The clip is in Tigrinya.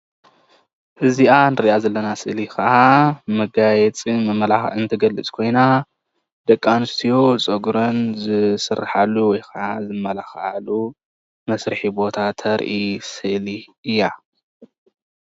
ስነ ፅባቀ ደቂ ኣንስትዮ ዝወሃበሉ ገዛ እዩ።